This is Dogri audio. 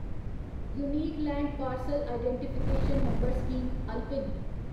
unique land parcel identification number scheme alpine